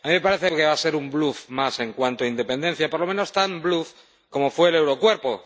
A mí me parece que va a ser un bluf más en cuanto a independencia y, por lo menos, tan bluf como fue el Eurocuerpo.